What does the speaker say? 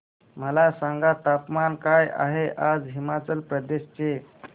मला सांगा तापमान काय आहे आज हिमाचल प्रदेश चे